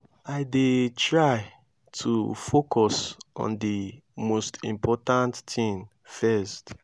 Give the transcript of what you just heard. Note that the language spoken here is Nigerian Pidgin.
i dey try to focus on di most important thing first.